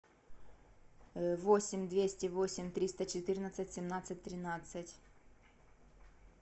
восемь двести восемь триста четырнадцать семнадцать тринадцать